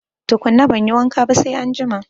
Tukuna banyi wanka ba sai anjima